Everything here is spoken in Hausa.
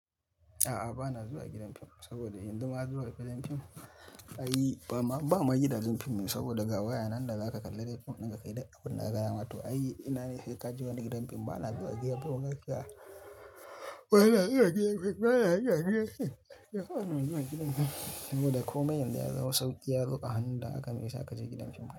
A'a, ba na zuwa gidan fim saboda yan zuma zuwa gidan fim ayi, ba ma, ba ma gidan fim saboda gawa ya nan da za ka kalla fim, nan ka kai ɗakuna aka gaya ma to ayi ina ne sai ka je wani gidan fim. Ba na zuwa gidan fim gaskiya a, ba na zuwa gidan fim, ba na zuwa gidan fim. Saboda komai yanzu ya zama sauki ya zo ka hanun dan haka maisa ka je gidan fim.